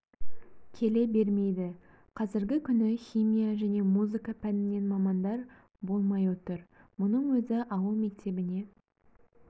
келе бермейді қазіргі күні химия және музыка пәнінен мамандар болмай отыр мұның өзі ауыл мектебіне